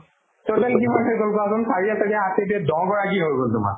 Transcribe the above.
total কিমানটা গ'ল কোৱাচোন চাৰি চাৰিয়ে আঠে দুইয়ে দহ গৰাকী হৈ গ'ল তোমাৰ